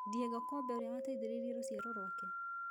Diego - Kobe ũrĩa wateithĩrĩirie rũciaro rwake